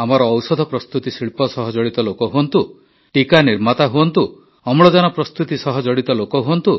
ଆମର ଔଷଧ ପ୍ରସ୍ତୁତି ଶିଳ୍ପ ସହ ଜଡ଼ିତ ଲୋକ ହୁଅନ୍ତୁ ଟିକା ନିର୍ମାତା ହୁଅନ୍ତୁ ଅମ୍ଳଜାନ ପ୍ରସ୍ତୁତି ସହ ଜଡ଼ିତ ଲୋକ ହୁଅନ୍ତୁ